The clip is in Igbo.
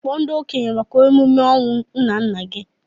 Kpọọ ndị okenye maka emume ọnwụ nnanna gị!